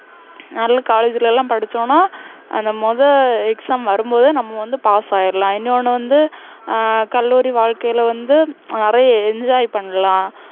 நல்ல college ல எல்லாம் படிச்சோன்னா, அந்த முதல் exam வரும்போதே நம்ம வந்து pass ஆயிடலாம். இன்னொண்ணு வந்து, ஹம் கல்லூரி வாழ்க்கையில வந்து, அஹ் நிறைய enjoy பண்ணலாம்.